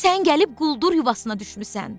Sən gəlib quldur yuvasına düşmüsən.